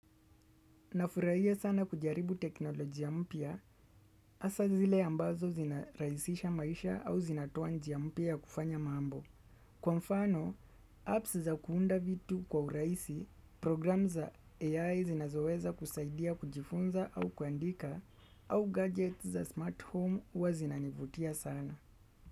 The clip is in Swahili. Nafurahia sana kujaribu teknolojia mpya, hasa zile ambazo zinarahisisha maisha au zinatoa njia mpya ya kufanya mambo. Kwa mfano, apps za kuunda vitu kwa urahisi, programu za AI zinazoweza kusaidia kujifunza au kuandika, au gadgets za smart home huwa zinanivutia sana.